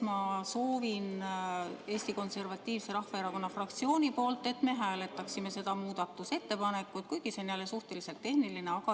Ma soovin Eesti Konservatiivse Rahvaerakonna fraktsiooni nimel, et me hääletaksime ka seda muudatusettepanekut, kuigi see on jälle suhteliselt tehniline.